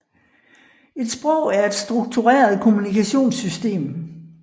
Et sprog er et struktureret kommunikationssystem